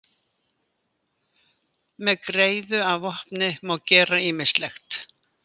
Með greiðu að vopni má gera ýmislegt!